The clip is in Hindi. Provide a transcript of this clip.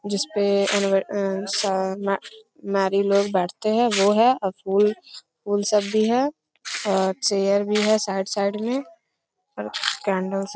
जिस पे नारियल लोग बाटते है वो है फूल फूल सब भी है और चेयर भी है साइड साइड में और कैंडल्स --